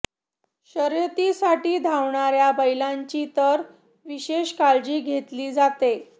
शर्यतीसाठी धावणार्या बैलांची तर विशेष काळजी घेतली जाते